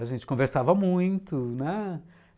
A gente conversava muito, né?